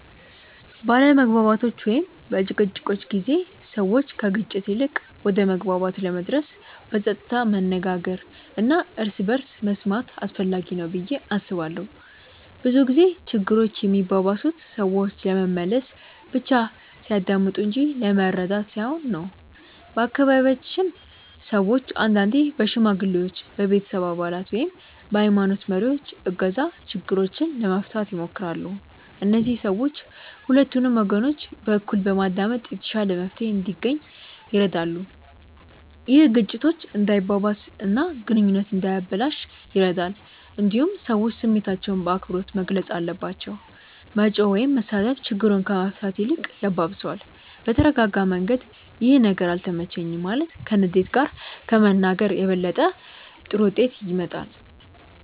በአለመግባባቶች ወይም በጭቅጭቆች ጊዜ ሰዎች ከግጭት ይልቅ ወደ መግባባት ለመድረስ በጸጥታ መነጋገር እና እርስ በርስ መስማት አስፈላጊ ነው ብዬ አስባለሁ። ብዙ ጊዜ ችግሮች የሚባባሱት ሰዎች ለመመለስ ብቻ ሲያዳምጡ እንጂ ለመረዳት ሳይሆን ነው። በአካባቢያችን ሰዎች አንዳንዴ በሽማግሌዎች፣ በቤተሰብ አባላት ወይም በሀይማኖት መሪዎች እገዛ ችግሮችን ለመፍታት ይሞክራሉ። እነዚህ ሰዎች ሁለቱንም ወገኖች በእኩል በማዳመጥ የተሻለ መፍትሄ እንዲገኝ ይረዳሉ። ይህ ግጭቱ እንዳይባባስ እና ግንኙነቱ እንዳይበላሽ ይረዳል። እንዲሁም ሰዎች ስሜታቸውን በአክብሮት መግለጽ አለባቸው። መጮህ ወይም መሳደብ ችግሩን ከመፍታት ይልቅ ያባብሰዋል። በተረጋጋ መንገድ “ይህ ነገር አልተመቸኝም” ማለት ከንዴት ጋር ከመናገር የበለጠ ጥሩ ውጤት ያመጣል።